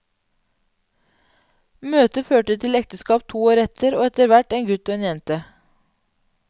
Møtet førte til ekteskap to år etter, og etterhvert en gutt og en jente.